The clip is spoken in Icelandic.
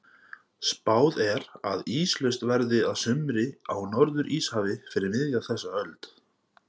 Spáð er að íslaust verði að sumri á Norður-Íshafi fyrir miðja þessa öld.